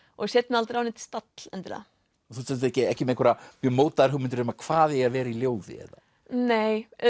og set mig aldrei á neinn stall endilega þú ert ekki ekki með einhverjar mjög mótaðar hugmyndir um hvað eigi að vera í ljóði eða nei